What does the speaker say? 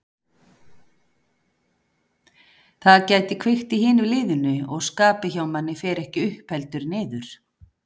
Það gæti kveikt í hinu liðinu og skapið hjá manni fer ekki upp heldur niður.